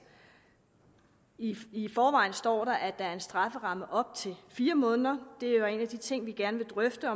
i forvejen står der at der er en strafferamme op til fire måneder og en af de ting vi gerne vil drøfte